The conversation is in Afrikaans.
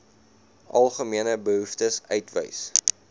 algemene behoeftes uitwys